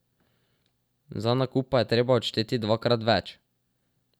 Za nakup pa je treba odšteti dvakrat več.